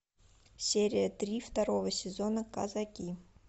серия три второго сезона казаки